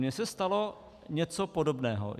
Mně se stalo něco podobného.